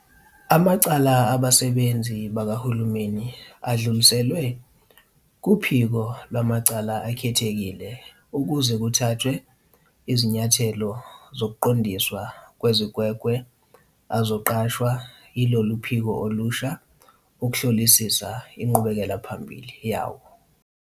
Amacala abasebenzi bakahulumeni adluliselwe kuPhiko Lwamacala Akhethekile ukuze kuthathwe izinyathelo zokuqondiswa kwezigwegwe azoqashwa yilolu phiko olusha ukuhlolisisa inqubekelaphambili yawo.